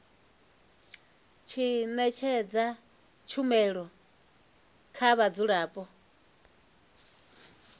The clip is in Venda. tshi ṅetshedza tshumelo kha vhadzulapo